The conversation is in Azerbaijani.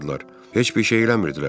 Heç bir şey eləmirdilər.